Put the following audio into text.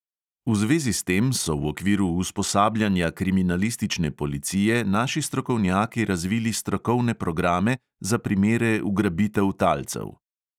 V zvezi s tem so v okviru usposabljanja kriminalistične policije naši strokovnjaki razvili strokovne programe za primere ugrabitev talcev.